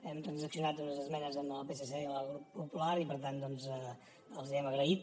hem transaccionat unes esmenes amb el psc i amb el grup popular i per tant doncs els hi hem agraït